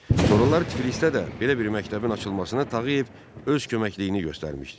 Sonralar Tiflisdə də belə bir məktəbin açılmasına Tağıyev öz köməkliyini göstərmişdi.